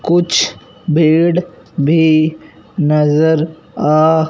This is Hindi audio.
कुछ भीड भी नजर आ--